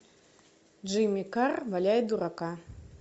джимми карр валяет дурака